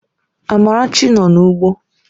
Amarachi nọ n'ugbo